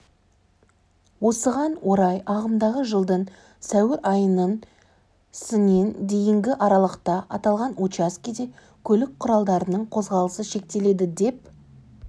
осыған орай ағымдағы жылдың сәуір айының сінен дейінгі аралықта аталған учаскеде көлік құралдарының қозғалысы шектеледі деп